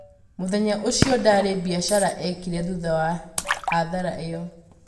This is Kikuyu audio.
mũthenya ũcio ndarĩ biacara ekĩre thũtha wa hathara ĩyo